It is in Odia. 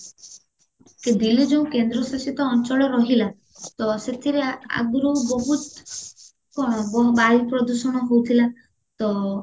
ଦିଲ୍ଲୀ ଯୋଉ କେନ୍ଦ୍ରଶାସିତ ଅଞ୍ଚଳ ରହିଲା ତ ସେଥିରେ ଆଗରୁ ବହୁତ କଣ ବା ବାୟୁ ପ୍ରଦୂଷଣ ହଉଥିଲା ତ